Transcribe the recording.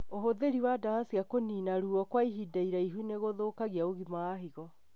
ũhũthĩri wa ndawa cia kũnina ruo kwa ihinda iraihu nĩgũthũkagia ũgima wa higo